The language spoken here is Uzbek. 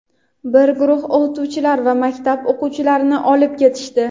bir guruh o‘qituvchilar va maktab o‘quvchilarini olib ketishdi.